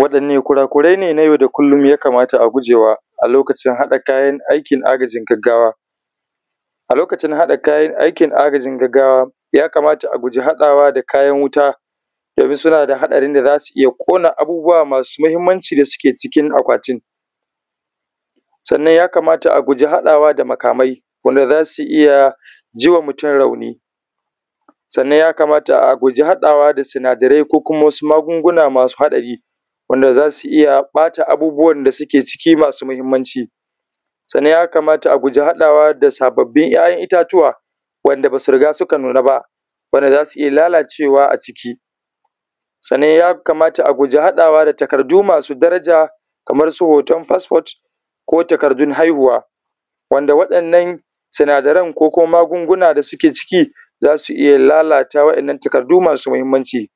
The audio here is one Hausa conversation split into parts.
Waɗanne kurakurai ne na yau da kulun ya kamata a guje wa a lokacin haɗa kayan aikin agajin gaggawa? Ya kamata a guji haɗawa da kayan wuta domin suna da haɗarin da za su iya ƙona abubuwa masu muhimmanci wanda suke cikin akwatin, sannan ya kamata a guji haɗawa da makamai wanda za su iya ji wa mutun rauni, sannan ya kamata a guji haɗawa da sinadarai ko kuma wasu magunguna masu haɗari wanda za su iya ɓata abubuwan da suke ciki masu muhimmanci. Sannan ya kamata a guji haɗawa da sabbin ‘ya’yan itatuwa wanda ba su riga suka nuna ba, saboda za su iya lalacewa a ciki, sannan ya kamata a guji haɗawa da takardu masu daraja kamar su hoton fasfot ko takardun haihuwa wanda waɗannan sinadaran ko kuma magunguna da suke ciki za su iya lalata waɗannan takardu masu muhimmanci.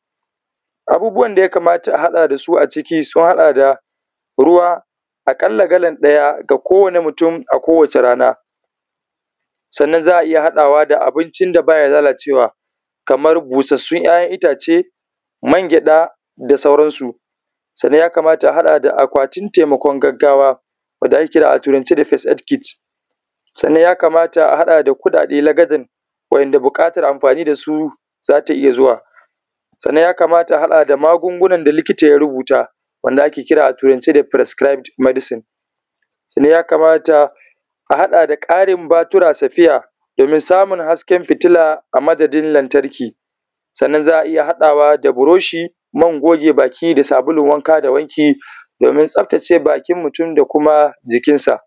Abubuwan da ya kamata a haɗa da su a ciki sun haɗa da: ruwa na akalla galan ɗaya ga kowane mutun a kowace rana, sannan ana iya haɗawa da abincin da ba ya lalacewa kamar busassun ‘ya’yan itace, mangyada da sauran su, sannan ya kamata a haɗa da akwatin taimakon gaggawa wanda ake kira a turance first aid box, sannan ya kamata a haɗa da kuɗaɗe lakadan wanda buƙatar amfani da su za ta iya zuwa. Sannan ya kamata a haɗa da magungunan da likita ya rubuta wanda ake kira a turance da prescribed medicine, sannan ya kamata a haɗa da ƙarin batura spare domin samun hasken fitilla a madadin lantarki, sannan za a iya haɗawa da brush man goge baki da sabulun wanka da wanki domin tsaftace bakin mutun da kuma jikinsa.